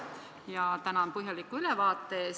Ja tänan põhjaliku ülevaate eest!